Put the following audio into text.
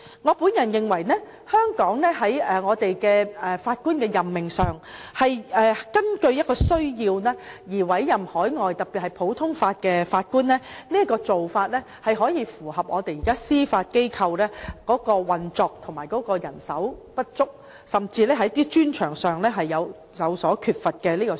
我認為在法官的任命上，香港是根據需要而委任海外法官，這種做法符合現時司法機構的運作，並可回應人手不足甚至是某些專長有所缺乏的問題。